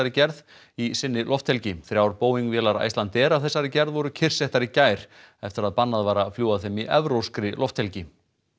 gerð í sinni lofthelgi þrjár Boeing vélar Icelandair af þessari gerð voru kyrrsettar í gær eftir að bannað var að fljúga þeim í evrópskri lofthelgi